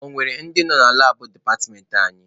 Ọ nwere ndị nọ na labụ departmentị anyị?